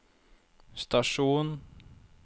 stasjon